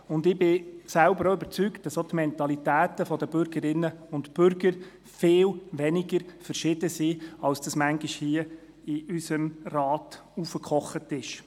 Ich bin davon überzeugt, dass auch die Mentalitäten der Bürgerinnen und Bürger viel weniger verschieden sind, als es manchmal in diesem Rat hochgekocht wird.